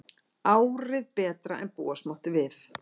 Árið betra en búast mátti við